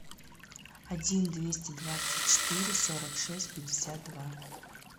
один двести двадцать четыре сорок шесть пятьдесят два